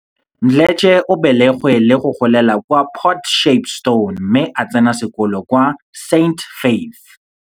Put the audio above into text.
Mdletshe o belegwe le go golela kwa Port Shepstone mme a tsena sekolo kwa St Faiths.